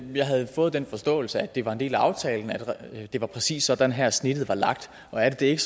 jeg havde fået den forståelse at det var en del af aftalen at det præcis var sådan her at snittet var lagt og er det det ikke